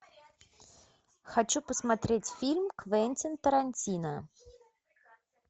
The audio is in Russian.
хочу посмотреть фильм квентин тарантино